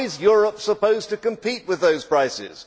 How is Europe supposed to compete with those prices?